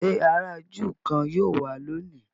ṣe àrà júù kán yíò wá lóni?